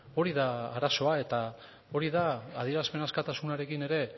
hori da arazoa eta hori da adierazpen askatasunarekin ere